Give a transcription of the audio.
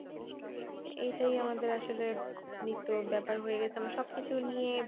এটাই আমাদের আসলে নিত্য ব্যাপার হয়ে গেছে আমরা সব কিছু নিয়ে।